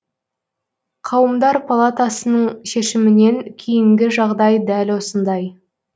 қауымдар палатасының шешімінен кейінгі жағдай дәл осындай